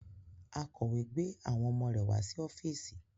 Akọ̀wé gbé àwọn ọmọ rẹ̀ wá sí ọ́fíìsì